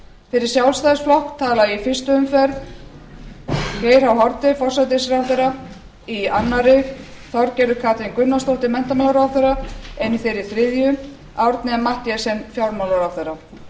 fyrir sjálfstæðisflokk talar í fyrstu umferð geir h haarde forsætisráðherra í annarri þorgerður katrín gunnarsdóttir menntamálaráðherra en í þeirri þriðju árni m mathiesen fjármálaráðherra